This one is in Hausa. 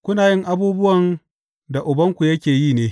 Kuna yin abubuwan da ubanku yake yi ne.